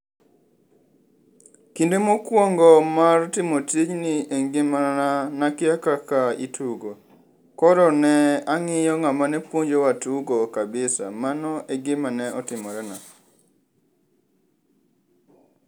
Kinde mokwongo mar timo tijni engimana nakia kaka itugo. Koro ne ang'iyo ng'amane puonjowa tugo kabisa, mano egima ne otimorena.